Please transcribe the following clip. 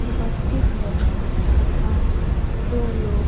उपस्थित है तथा दो लोग--